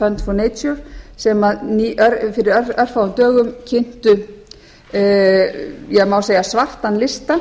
worldwide fund for nature sem fyrir örfáum dögum kynntu má segja svartan lista